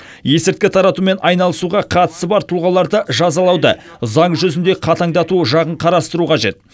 есірткі таратумен айналысуға қатысы бар тұлғаларды жазалауды заң жүзінде қатаңдату жағын қарастыру қажет